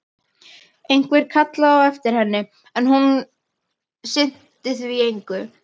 Einhver kallaði á eftir henni, en hún sinnti því engu.